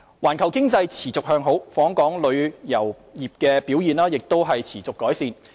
環球經濟持續向好，訪港旅遊業表現亦持續改善。